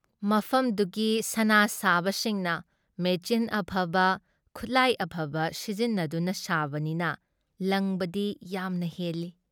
ꯃꯐꯝꯗꯨꯒꯤ ꯁꯅꯥ ꯁꯥꯕꯁꯤꯡꯅ ꯃꯦꯆꯤꯟ ꯑꯐꯕ, ꯈꯨꯠꯂꯥꯏ ꯑꯐꯕ ꯁꯤꯖꯤꯟꯅꯗꯨꯅ ꯁꯥꯕꯅꯤꯅ ꯂꯪꯕꯗꯤ ꯌꯥꯝꯅ ꯍꯦꯜꯂꯤ ꯫